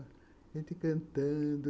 A gente cantando.